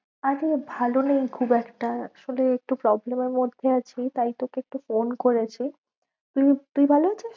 আরে ভালো নেই খুব একটা আসলে একটু problem এর মধ্যে আছি তাই তোকে একটু phone করেছি। তুই, তুই ভালো ~ আছিস?